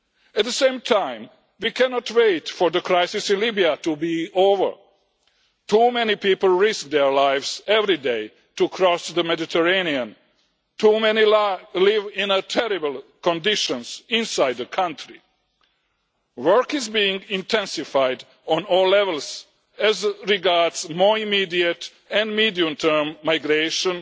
At the same time we cannot wait for the crisis in Libya to be over too many people risk their lives every day to cross the Mediterranean, too many live in terrible conditions inside the country. Work is being intensified on all levels as regards more immediate and medium term migration